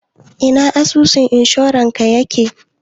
Ina asusun inshorarka yake?